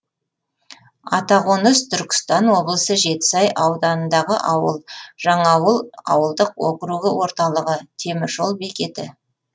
атақоныс түркістан облысы жетісай ауданындағы ауыл жаңаауыл ауылдық округі орталығы темір жол бекеті